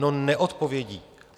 No neodpovědí!